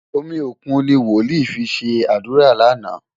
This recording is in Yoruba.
Omi òkun ni wòlíì fi ṣe àdúrà lánàá.